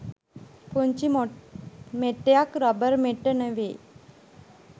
පුංචි මෙට්ටයක් රබර් මෙට්ට නෙවෙයි